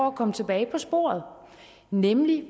at komme tilbage på sporet nemlig